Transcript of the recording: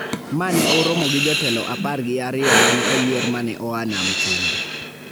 ma ne oromo gi jotelo apar gi ariyo ma ne oyier ma ne oa Nam Chumbi.